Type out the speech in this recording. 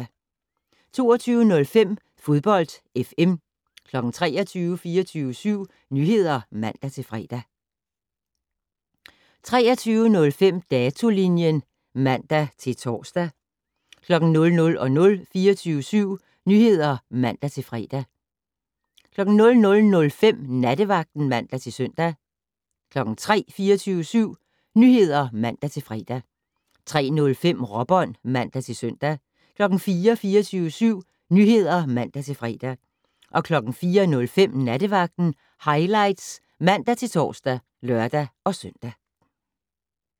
22:05: Fodbold FM 23:00: 24syv Nyheder (man-fre) 23:05: Datolinjen (man-tor) 00:00: 24syv Nyheder (man-fre) 00:05: Nattevagten (man-søn) 03:00: 24syv Nyheder (man-fre) 03:05: Råbånd (man-søn) 04:00: 24syv Nyheder (man-fre) 04:05: Nattevagten Highlights (man-tor og lør-søn)